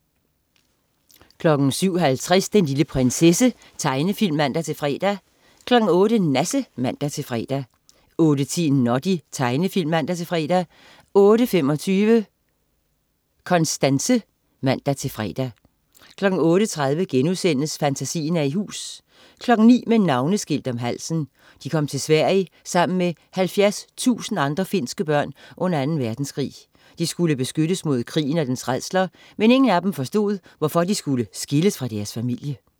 07.50 Den lille prinsesse. Tegnefilm (man-fre) 08.00 Nasse (man-fre) 08.10 Noddy. Tegnefilm (man-fre) 08.25 Konstanse (man-fre) 08.30 Fantasien er i hus* 09.00 Med navneskilt om halsen. De kom til Sverige sammen med 70.000 andre finske børn under 2. Verdenskrig. De skulle beskyttes mod krigen og dens rædsler, men ingen af dem forstod, hvorfor de skulle skilles fra deres familie